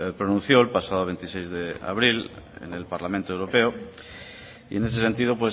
pronunció el pasado veintiséis de abril en el parlamento europeo y en ese sentido